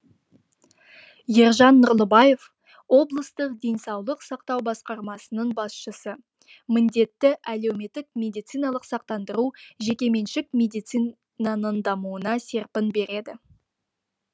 ержан нұрлыбаев облыстық денсаулық сақтау басқармасының басшысы міндетті әлеуметтік медициналық сақтандыру жекеменшік медицинаның дамуына серпін береді